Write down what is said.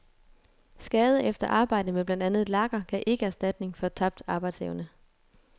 Skade efter arbejde med blandt andet lakker gav ikke erstatning for tabt arbejdsevne.